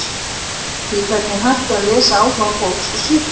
Skrýtið hvernig hægt er að lesa áhuga fólks úr svip þess.